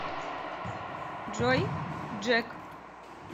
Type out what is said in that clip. джой джек